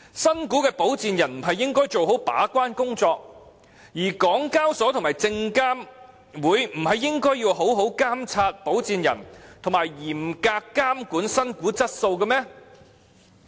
新股的保薦人不是應該做好把關工作，而港交所及證監會不是應該好好監察保薦人及嚴格監管新股質素嗎？